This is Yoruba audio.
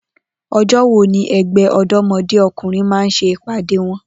O̩jó̩ wo ni e̩gbé̩ Ò̩dó̩mo̩dé O̩kùnrin máa ń s̩e ìpàdé wo̩n?